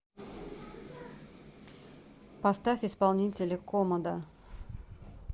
поставь исполнителя комодо